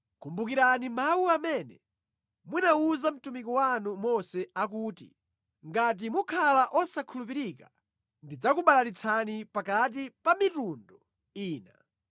“Kumbukirani mawu amene munawuza mtumiki wanu Mose akuti, ‘Ngati mukhala osakhulupirika, ndidzakubalalitsani pakati pa mitundu ina.